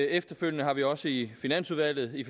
efterfølgende har vi også i finansudvalget i